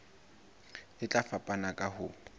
e tla fapana ka ho